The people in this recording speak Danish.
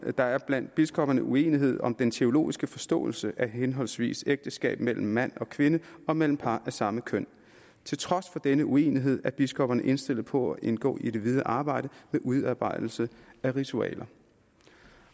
der er blandt biskopperne uenighed om den teologiske forståelse af henholdsvis ægteskab mellem mand og kvinde og mellem par af samme køn til trods for denne uenighed er biskopperne indstillet på at indgå i det videre arbejde med udarbejdelse af ritualer